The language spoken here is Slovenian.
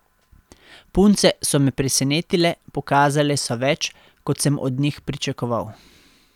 Punce so me presenetile, pokazale so več, kot sem od njih pričakoval.